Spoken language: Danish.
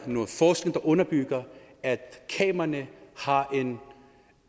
noget forskning der underbygger at kameraerne har